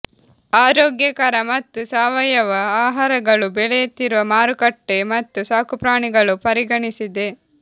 ಆರೋಗ್ಯಕರ ಮತ್ತು ಸಾವಯವ ಆಹಾರಗಳು ಬೆಳೆಯುತ್ತಿರುವ ಮಾರುಕಟ್ಟೆ ಮತ್ತು ಸಾಕುಪ್ರಾಣಿಗಳು ಪರಿಗಣಿಸಿದೆ